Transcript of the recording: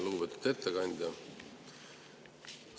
Lugupeetud ettekandja!